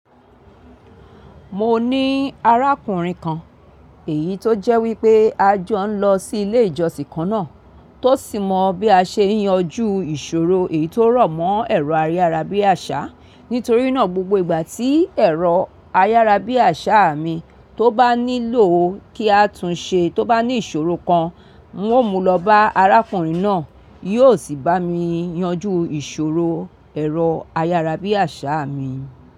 Mo ní arákùnrin kan, èyí tó jẹ́ wípé a jọ ń lọ sí ilé ìjọsìn kan náà. Tó sì mọ bí a ṣe ń yanjú ìṣòro èyí tó rọ̀ mọ́ ẹ̀rọ ayárabíàṣá. Nítorí náà, gbogbo ìgbà tí ẹ̀rọ ayárabíàṣá mi tó bá nílò kí á tún ṣe tó bá ní ìṣòro kan, ń ó mú lọ bá arákùnrin náà, yóò sì bá mi yanjú ìṣòro ẹ̀rọ ayárabíàṣá mi.